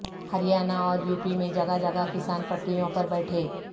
ہریانہ اوریوپی میں جگہ جگہ کسان پٹریوں پر بیٹھے